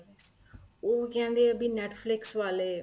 ਉਹ ਕਹਿੰਦੇ ਏ ਵੀ Netflix ਵਾਲੇ